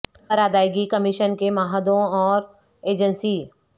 پر ادائیگی کمیشن کے معاہدوں اور ایجنسی